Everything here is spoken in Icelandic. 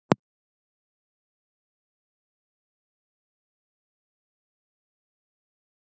Kríur éta smáa fiska, skordýr, rækjur, krabbadýr og hryggleysingja.